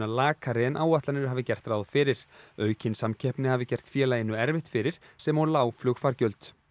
lakari en áætlanir hafi gert ráð fyrir aukin samkeppni hafi gert félaginu erfitt fyrir sem og lág flugfargjöld